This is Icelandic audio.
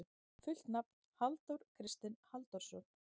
Fullt nafn: Halldór Kristinn Halldórsson.